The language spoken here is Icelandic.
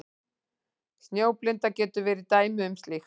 Snjóblinda getur verið dæmi um slíkt.